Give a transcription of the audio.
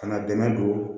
Ka na dɛmɛ don